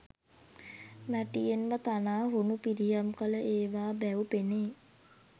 මැටියෙන්ම තනා හුණු පිරියම් කළ ඒවා බැව් පෙනේ.